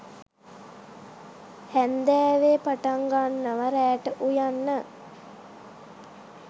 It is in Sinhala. හැන්දෑවෙ පටංගන්නව රෑට උයන්න